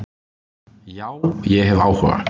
Já, ég hef áhuga.